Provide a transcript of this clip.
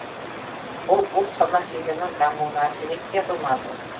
бұл ұлт сана сезімнің дамуына әсер етпей қоймады